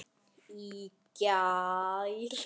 Í gær?